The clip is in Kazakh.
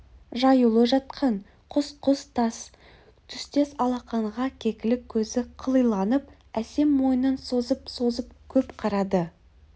жаюлы жатқан құс-құс тас түстес алақанға кекілік көзі қылиланып әсем мойнын созып-созып көп қарады